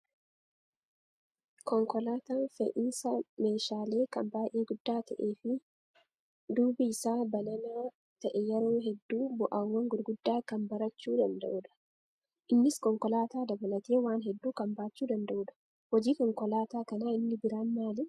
Konkolaataan fe'iisa meeshaalee kan baay'ee guddaa ta'ee fi duubi isaa banana ta'e yeroo hedduu ba'aawwan gurguddaa kan barachuu danda'udha. Innis konkolaataa dabalatee waan hedduu kan baachuu danda'udha. Hojiin konkolaataa kanaa inni biraan maali?